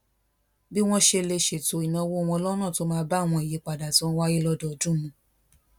bí wón ṣe lè ṣètò ìnáwó wọn lónà tó máa bá àwọn ìyípadà tó ń wáyé lódọọdún mu